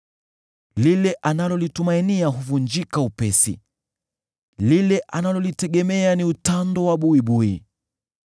Lile analolitumainia huvunjika upesi; lile analolitegemea ni utando wa buibui.